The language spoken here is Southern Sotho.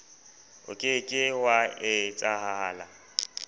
o ke ke wa etsahala